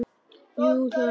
Jú, það er hann.